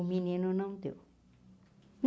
O menino não deu.